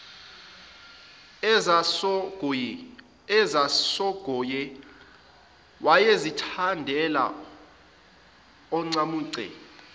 ezasongoye wayezithandela oncamunce